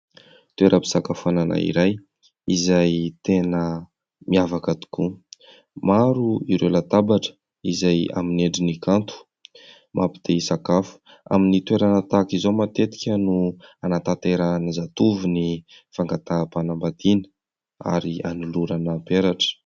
Toeram-pisakafoanana iray izay tena miavaka tokoa. Maro ireo latabatra izay amin'ny endriny kanto. Mampy te hisakafo. Amin'ny toerana tahak'izao matetika no anatanterahan'ny zatovo ny fangataham-panambadiana ary anolorana ny peratra.